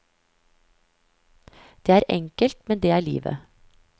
Det er enkelt, men det er livet.